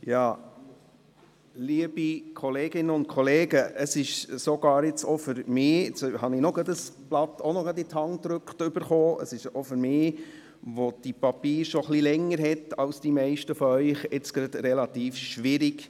Mir wurde soeben auch noch ein Papier in die Hand gedrückt, und es ist auch für mich, der die Papiere schon etwas länger hat als die meisten von Ihnen, gerade relativ schwierig.